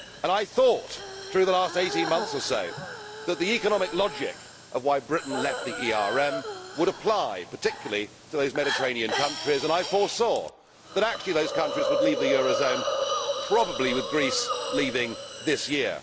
I thought, through the last 18 months or so, that the economic logic of why Britain left the ERM would apply, particularly to those Mediterranean countries, and I foresaw that actually those countries would leave the euro zone, probably with Greece leaving this year.